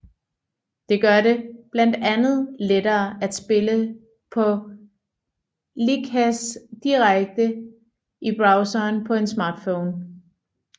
Det gør det blandt andet lettere at spille på Lichess direkte i browseren på en smartphone